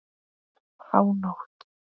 Um hánótt.